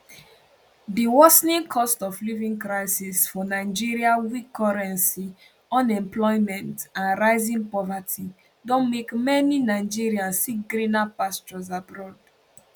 di worsening costofliving crisis for nigeria weak currency unemployment and rising poverty don make many nigerians seek greener pastures abroad